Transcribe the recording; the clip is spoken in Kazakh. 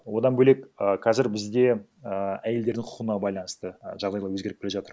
одан бөлек ііі қазір бізде і әйелдердің құқына байланысты і жағдайлар өзгеріп келе жатыр